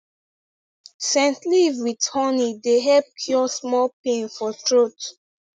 scent leaf with honey dey help cure small pain for throat